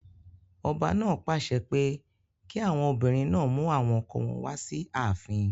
Ọba náà pàṣẹ pé kí àwọn obìnrin náà mú àwọn ọkọ wọn wá sí ààfin.